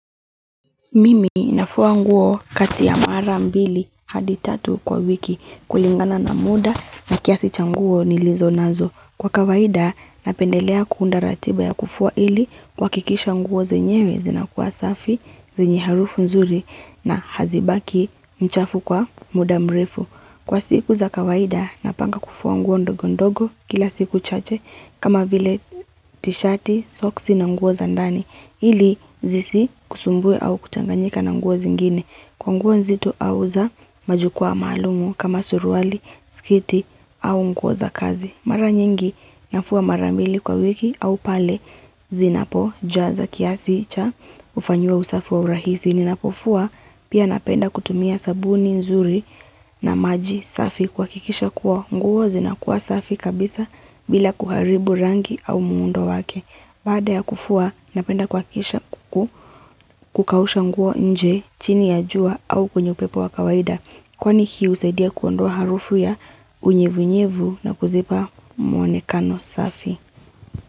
Mimi nafua nguo kati ya mara mbili hadi tatu kwa wiki kulingana na muda na kiasi cha nguo nilizo nazo. Kwa kawaida napendelea kuunda ratiba ya kufua ili kuhakikisha nguo zenyewe zinakua safi, zenye harufu nzuri na hazibaki chafu kwa muda mrefu. Kwa siku za kawaida napanga kufua nguo ndogo ndogo kila siku chache kama vile tishati, soksi na nguo za ndani ili zisikusumbue au kuchanganyika na nguo zingine kwa nguo nzito au za majukwaa maalumu kama surwali, sketi au nguo za kazi. Mara nyingi nafua mara mbili kwa wiki au pale zinapo jaza kiasi cha kufanyiwa usafi wa urahisi. Ninapofua pia napenda kutumia sabuni nzuri na maji safi kuhakikisha kuwa nguo zinakuwa safi kabisa bila kuharibu rangi au muundo wake. Baada ya kufua napenda kuhakikisha kukausha nguo nje chini ya jua au kuwenye upepo wa kawaida. Kwani hio husaidia kuondoa harufu ya unyevunyevu na kuzipa mwonekano safi.